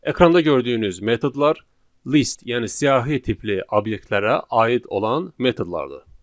Ekranda gördüyünüz metodlar list, yəni siyahı tipli obyektlərə aid olan metodlardır.